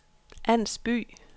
Ans By